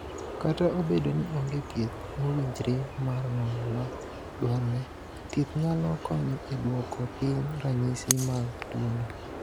"Kata obedo ni onge thieth mowinjre mar ng’ol ma dwarore, thieth nyalo konyo e duoko piny ranyisi mag tuwono."